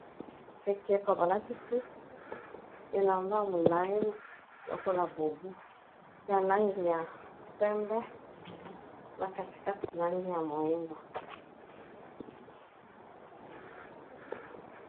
Ekeko balatisi elamba molayi lokola bobu ya langi ya pembe na kati kati langi ya moyindo.